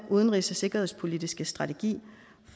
udenrigs og sikkerhedspolitiske strategi